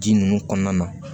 Ji ninnu kɔnɔna na